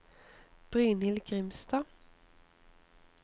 Brynhild Grimstad